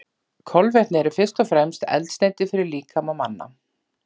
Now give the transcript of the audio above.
Kolvetni eru fyrst og fremst eldsneyti fyrir líkama manna.